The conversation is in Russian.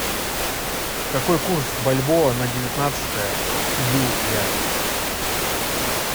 какой курс бальбоа на девятнадцатое июля